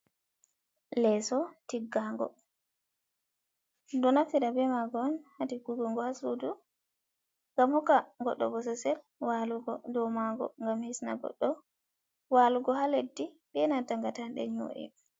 Leso tiggago, ɗon naftira be maago ha tiggugo go ha sudu ngam hukka goɗɗo bosossel walugo dow maago, ngam hisna goɗɗo walugo ha leddi benanta ngatanɗe nyo'e.